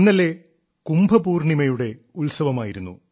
ഇന്നലെ കുംഭപൂർണ്ണിമയുടെ ഉത്സവമായിരുന്നു